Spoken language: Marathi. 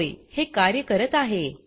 होय हे कार्य करत आहे